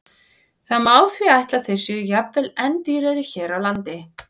Það má því ætla að þeir séu jafnvel enn dýrari hér á landi.